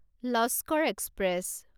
Laskar express